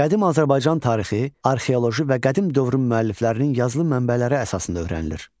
Qədim Azərbaycan tarixi arxeoloji və qədim dövrün müəlliflərinin yazılı mənbələri əsasında öyrənilir.